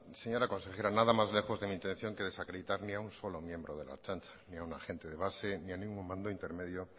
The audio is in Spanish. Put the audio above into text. señora consejera nada más lejos de mi intención que desacreditar ni a un solo miembro de la ertzaintza ni a un agente de base ni a ningún mando intermedio